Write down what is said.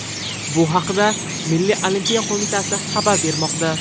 Bu haqda Milliy olimpiya qo‘mitasi xabar bermoqda .